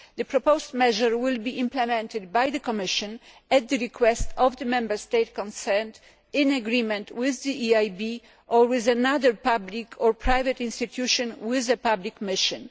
The proposed measure will be implemented by the Commission at the request of the Member State concerned in agreement with the EIB or with another public or private institution with a public mission.